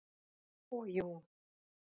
Og jú.